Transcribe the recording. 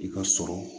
I ka sɔrɔ